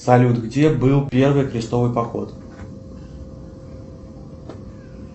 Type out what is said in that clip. салют где был первый крестовый поход